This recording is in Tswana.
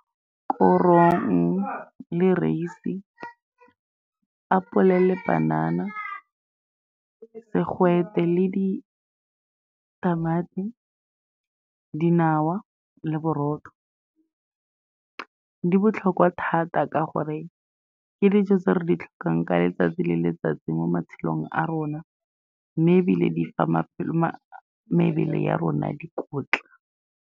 Korong le raese, apole le panana, segwete le ditamati, dinawa le borotho , di botlhokwa thata ka gore ke dijo tse re di tlhokang ka letsatsi le letsatsi mo matshelong a rona, mme ebile di fa mebele ya rona dikotla.